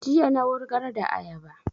Jiya na wurgar da ayaba